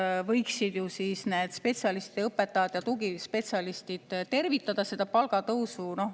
Siis võiksid ju need spetsialistid, õpetajad ja tugispetsialistid tervitada seda palgatõusu.